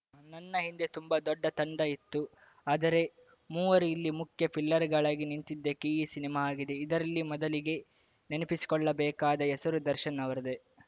ನನ್ನ ಹಿಂದೆ ತುಂಬಾ ದೊಡ್ಡ ತಂಡ ಇತ್ತು ಆದರೆ ಮೂವರು ಇಲ್ಲಿ ಮುಖ್ಯ ಪಿಲ್ಲರ್‌ಗಳಾಗಿ ನಿಂತಿದ್ದಕ್ಕೆ ಈ ಸಿನಿಮಾ ಆಗಿದೆ ಇದರಲ್ಲಿ ಮೊದಲಿಗೆ ನೆನಪಿಸಿಕೊಳ್ಳಬೇಕಾದ ಹೆಸರು ದರ್ಶನ್‌ ಅವರದ್ದೇ